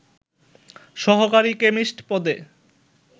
সহকারী কেমিস্ট পদে